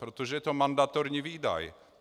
Protože je to mandatorní výdaj.